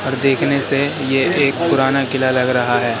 और देखने से ये एक पुराना किला लग रहा है।